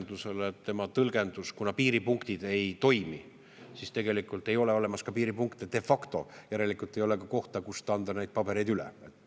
Aga Soome Vabariik asus tõlgendusele, et kuna piiripunktid ei toimi, siis ei ole de facto olemas ka piiripunkte, järelikult ei ole ka kohta, kus anda neid pabereid üle.